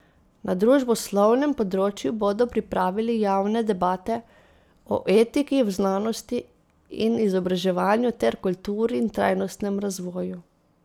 Na družboslovnem področju bodo pripravili javne debate o etiki v znanosti in izobraževanju ter kulturi in trajnostnem razvoju.